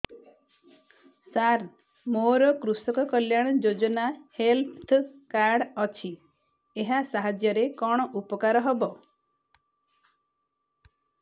ସାର ମୋର କୃଷକ କଲ୍ୟାଣ ଯୋଜନା ହେଲ୍ଥ କାର୍ଡ ଅଛି ଏହା ସାହାଯ୍ୟ ରେ କଣ ଉପକାର ହବ